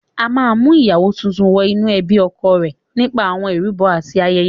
A máa ń mú ìyàwó tuntun wọ inú ẹbí ọkọ rẹ̀ nípa àwọn ìrúbọ àti ayẹyẹ.